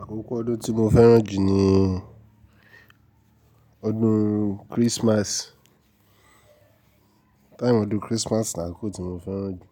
Àkókò ọdún tí mo fẹ́ràn jù ni ọdún Christmas. Time ọdún Christmas ni àkókò tí mo fẹ́ràn jù.